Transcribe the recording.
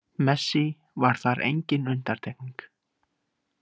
Messi var þar enginn undantekning.